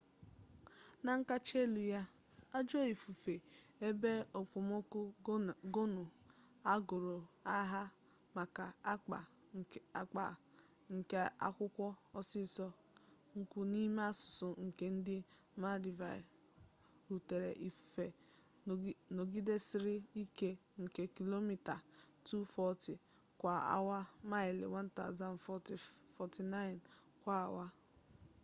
na nkacha elu ya ajọ ifufe ebe okpomọkụ gonu agụrụ aha maka akpa nke akụkwọ osisi nkwụ n’ime asụsụ nke ndị maldives rutere ifufe nọgidesịrị ike nke kilomita 240 kwa awa maịlị 149 kwa awa